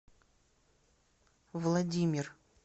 владимир